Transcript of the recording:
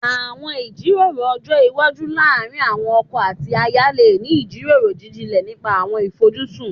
Àwọn ìjíròrò ọjọ́ iwájú láàárín àwọn ọkọ àti aya lè ní ìjíròrò jíjinlẹ̀ nípa àwọn ìfojúsùn